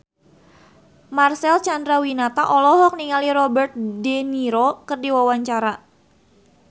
Marcel Chandrawinata olohok ningali Robert de Niro keur diwawancara